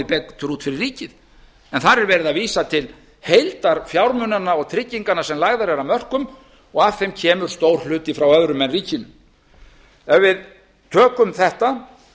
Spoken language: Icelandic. betur út fyrir ríkið en þar er verið að vísa til heildarfjármunanna og trygginganna sem lagðar eru af mörkum og af þeim kemur stór hluti frá öðrum en ríkinu ef við tökum þetta